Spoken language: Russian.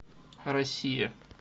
россия